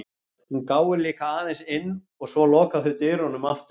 Hún gáir líka aðeins inn og svo loka þau dyrunum aftur.